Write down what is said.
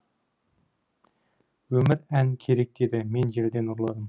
өмір ән керек деді мен желден ұрладым